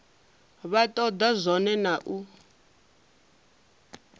vha toda zwone na u